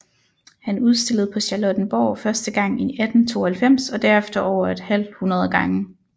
Han udstillede på Charlottenborg første gang i 1892 og derefter over et halvhundrede gange